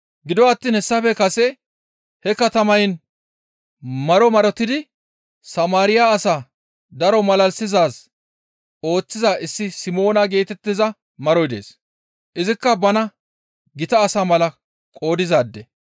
Gido attiin hessafe kase he katamayin maro marotidi Samaariya asaa daro malalisizaaz ooththiza issi Simoona geetettiza maroy dees; izikka bana gita asa mala qoodizaade.